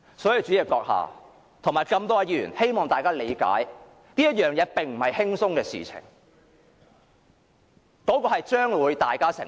所以，主席閣下及各位議員，希望大家理解，這並非輕鬆的事情，結果將會由大家承受。